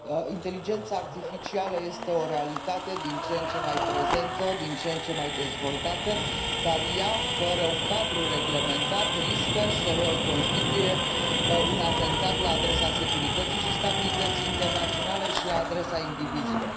Inteligența artificială este o realitate din ce în ce mai prezentă, din ce în ce mai dezvoltată, dar fără un cadru reglementat, ea riscă să constituie un atentat la adresa securității și stabilității internaționale și la adresa indivizilor.